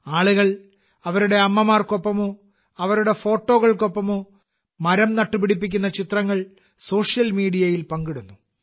ആളുകൾ അവരുടെ അമ്മമാർക്കൊപ്പമോ അവരുടെ ഫോട്ടോകൾക്കൊപ്പമോ മരം നട്ടുപിടിപ്പിക്കുന്ന ചിത്രങ്ങൾ സോഷ്യൽ മീഡിയയിൽ പങ്കിടുന്നു